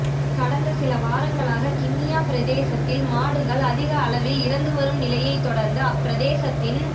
கடந்த சில வாரங்களாக கிண்ணியா பிரதேசத்தில் மாடுகள் அதிகளவில் இறந்து வரும் நிலையைத் தொடர்ந்து அப்பிரதேசத்தின்